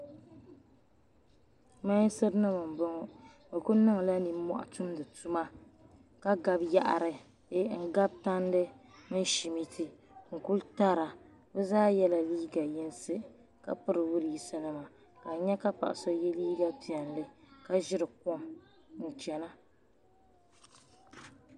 Mensa nima mboŋɔ bɛ kuli niŋla ninmohi dumdi tuma ka gabi yaɣari n gabi tandi mini shimiti n kuli tara bɛ zaa yela liiga yinsi ka piri widisi nima ka a nya ka paɣa so ye liiga piɛli ka ʒiri kom n chena.